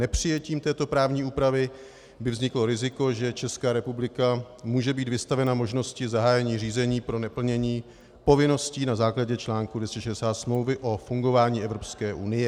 Nepřijetím této právní úpravy by vzniklo riziko, že Česká republika může být vystavena možnosti zahájení řízení pro neplnění povinností na základě článku 260 Smlouvy o fungování Evropské unie.